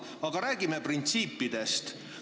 Aga räägime printsiipidest.